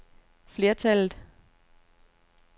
flertallet